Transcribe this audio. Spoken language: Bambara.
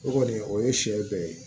O kɔni o ye sɛ bɛɛ ye